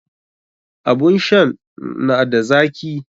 Abun shan n ada zaki?